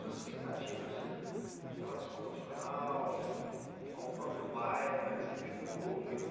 Suas expectativas em relação ao profissional, ao próprio bairro né, que você viu ele mudou muito.